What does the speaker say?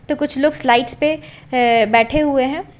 तो कुछ लोग स्लाइड्स पे अ बैठे हुए हैं।